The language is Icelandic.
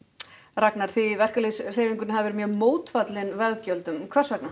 Ragnar þið í verkalýðshreyfingunni hafið verið mjög mótfallin veggjöldum hvers vegna